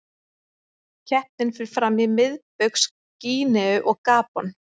Keppnin fer fram í Miðbaugs Gíneu og Gabon.